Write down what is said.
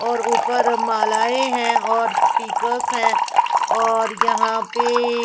और ऊपर मालाए हैं और स्पीकर्स हैं और यहाँ पे ए--